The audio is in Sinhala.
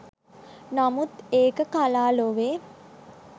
නමුත් ඒක කලා ලොවේ